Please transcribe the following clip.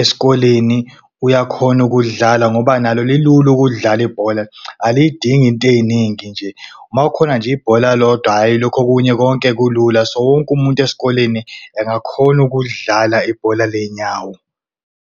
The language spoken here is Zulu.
esikoleni uyakhona ukudlala. Ngoba nalo lilula ukulidlala ibhola alidingi inteyiningi nje makukhona nje ibhola kodwa hhayi lokhu okunye konke kulula. So wonke umuntu esikoleni engakhona ukulidlala ibhola ley'nyawo.